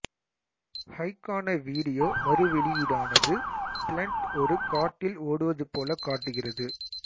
ஹைக்கான video மறுவெளியீடானது பிளண்ட் ஒரு காட்டில் ஓடுவது போல காட்டுகிறது